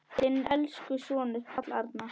Þinn elsku sonur, Páll Arnar.